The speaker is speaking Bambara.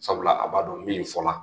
Sabula a b'a dɔn min fɔla